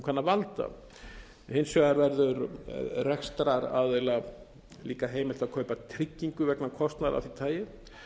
kann að valda hins vegar verður rekstraraðila líka heimilt að kaupa tryggingu vegna kostnaðar af því tagi